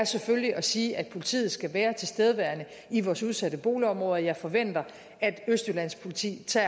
selvfølgelig at sige at politiet skal være tilstedeværende i vores udsatte boligområder jeg forventer at østjyllands politi tager